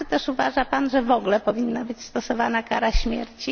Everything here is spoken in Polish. Czy też uważa Pan, że w ogóle powinna być stosowana kara śmierci?